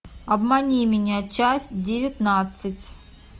обмани меня часть девятнадцать